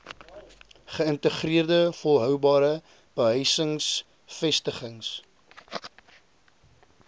geïntegreerde volhoubare behuisingsvestigings